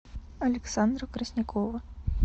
александра краснякова